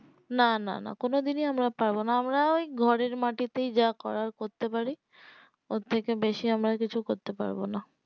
না না না কোনো দিনই আমি অ পারবো না আমি ওই ঘরের মাঠেতেই যা করার করতে পারি ওর থেকে বেশি আমার কিছু করেত পারবো না